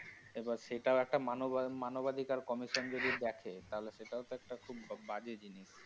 এবার সেটাও একটা মানবাধি~ মানবাধিকার কমিশন যদি দেখা তাহলে সেটাও তো একটা খুব বাজে জিনিস।